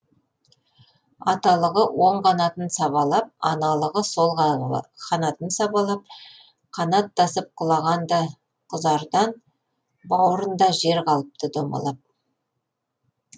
аталығы оң қанатын сабалап аналығы сол қанатын сабалап қанаттасып құлаған да құзардан бауырында жер қалыпты домалап